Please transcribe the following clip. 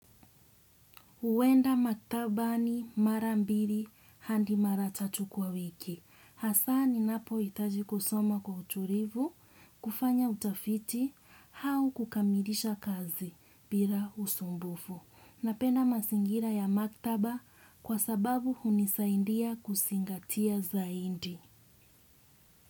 Uwenda maktabani mara mbiri handi mara tatu kwa wiki. Hasaaninapo itaji kusoma kwa uturivu, kufanya utafiti, hau kukamilisha kazi bila usumbufu. Napenda masingira ya maktaba kwa sababu hunisaindia kusingatia zaindi.